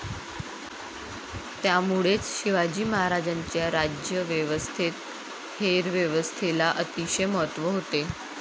त्यामुळेच शिवाजी महाराजांच्या राज्यव्यवस्थेत हेरव्यवस्थेला अतिशय महत्व होते.